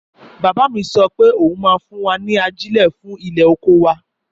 Bàbá mi sọ pé òun máa fún wa ní ajile fún ilẹ̀ oko wa